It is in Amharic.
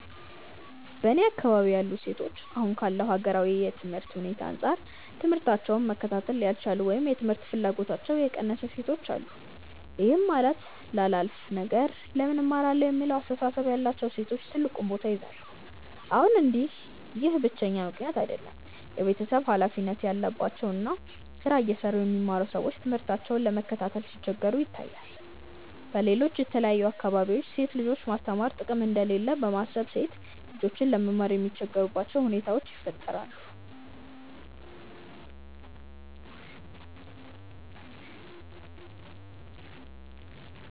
በእኔ አካባቢ ያሉ ሴቶች አሁን ካለው ሀገራዊ የትምህርት ሁኔታ አንጻር ትምህታቸውን መከታተል ያልቻሉ ወይም የትምህርት ፍላጎታቸው የቀነሰ ሴቶች አሉ። ይህም ማለት ላላፍ ነገር ለምን እማራለሁ የሚለው አስተሳሰብ ያላቸው ሴቶች ትልቁን ቦታ ይይዛሉ። ይሁን እንጂ ይህ ብቸኛው ምክንያት አይደለም። የቤተሰብ ሀላፊነት ያለባቸው እና ስራ እየሰሩ የሚማሩ ሰዎች ትምህርታቸውን ለመከታተል ሲቸገሩም ይታያል። በሌሎች የተለያዩ አካባቢዎች ሴት ልጆችን ማስተማር ጥቅም እንደሌለው በማሰብ ሴት ልጆች ለመማር የሚቸገሩባቸው ሁኔታዎች ይፈጠራሉ።